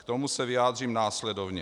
K tomu se vyjádřím následovně.